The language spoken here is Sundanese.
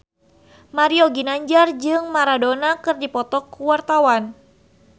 Mario Ginanjar jeung Maradona keur dipoto ku wartawan